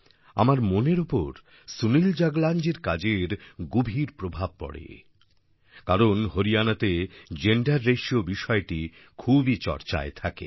আমার মনের ওপর সুনিল জাগলানজির কাজের গভীর প্রভাব পড়ে কারণ হরিয়ানাতে জেন্ডার রাতিও বিষয়টি খুবই চর্চায় থাকে